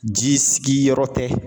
Ji sigi yɔrɔ tɛ